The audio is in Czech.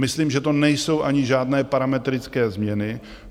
Myslím, že to nejsou ani žádné parametrické změny.